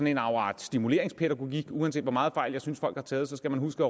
en afart stimuleringspædagogik med at uanset hvor meget fejl jeg synes folk har taget skal man huske